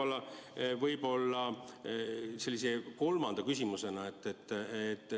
Ja võib-olla ka kolmas küsimus.